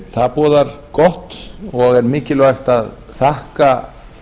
það boðar gott og er mikilvægt að þakka